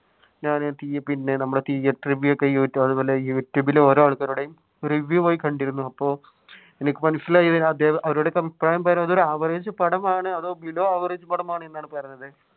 അതുപോലെ യൂട്യൂബിൽ ഓരോ ആൾക്കാരുടെ പോയി review കണ്ടിരുന്നു അപ്പോൾ എനിക്ക് മനസിലായി അവരുടെയൊക്കെ അഭിപ്രായം പറയുന്നത് ഒരു average പടമാണ് അത് below average എന്നാണ് പറഞ്ഞത്.